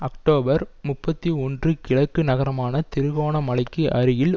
October முப்பத்தி ஒன்று கிழக்கு நகரமான திருகோணமலைக்கு அருகில்